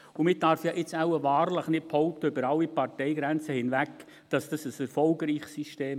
Und man darf jetzt wohl wahrlich nicht behaupten, über alle Parteigrenzen hinweg, das sei ein erfolgreiches System.